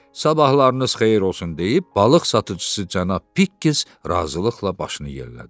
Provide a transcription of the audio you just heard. Sabahlarınız xeyir olsun deyib balıq satıcısı cənab Pikkes razılıqla başını yellədi.